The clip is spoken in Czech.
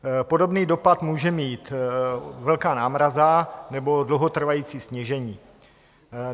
Podobný dopad může mít velká námraza nebo dlouhotrvající snížení.